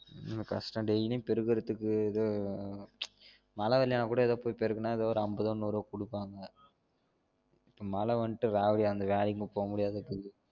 கஷ்டம் daily பெருக்றதுக்கு இது மழை வரலனா கூட ஏதோ போயி பெருக்குன கூட ஏதோ அம்பதோ நூறோ குடுப்பாங்க மழ வண்ட்டு அந்த வேலைக்கும் இனிமே போவ முடியாதா